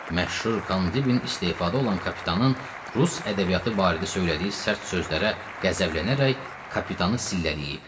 Məşhur Kandibin istehfada olan kapitanın rus ədəbiyyatı barədə söylədiyi sərt sözlərə qəzəblənərək kapitanı sillələyib.